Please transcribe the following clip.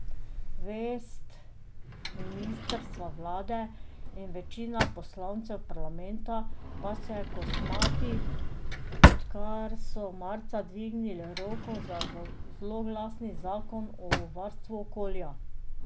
Vest ministrstva, vlade in večine poslancev parlamenta pa se kosmati, odkar so marca dvignili roko za zloglasni zakon o varstvu okolja.